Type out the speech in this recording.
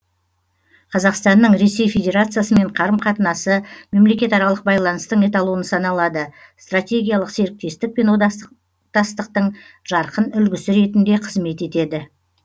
қазақстанның ресей федерациясымен қарым қатынасы мемлекетаралық байланыстың эталоны саналады стратегиялық серіктестік пен одақтастықтың жарқын үлгісі ретінде қызмет етеді